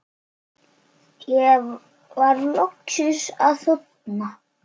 Ég var loksins að þorna